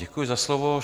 Děkuji za slovo.